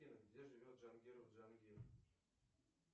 сбер где живет джангиров джангир